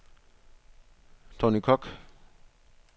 Tonny Kock